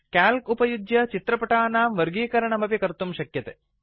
calc उपयुज्य चित्रपटाणां वर्गीकरणमपि कर्तुं शक्यते